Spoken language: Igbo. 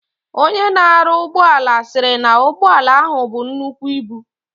Onye na aru ugboala siri na ugboala ahu bu nnukwu ibu.